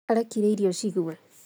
Arekire irio cigũe